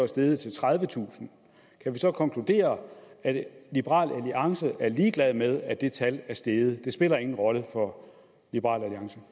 steget til tredivetusind kan vi så konkludere at liberal alliance er ligeglade med at det tal er steget det spiller ingen rolle for liberal